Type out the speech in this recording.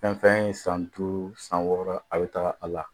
Fɛn o fɛn in ye san duuru san wɔɔrɔ a bɛ taga a la